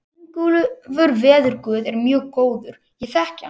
Ingólfur veðurguð er mjög góður, ég þekki hann.